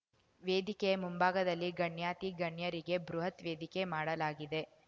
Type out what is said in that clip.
ವೇದಿಕೆಯ ಮುಂಭಾಗದಲ್ಲಿ ಗಣ್ಯಾಥಿ ಗಣ್ಯರಿಗೆ ಬೃಹತ್ ವೇದಿಕೆ ಮಾಡಲಾಗಿದೆ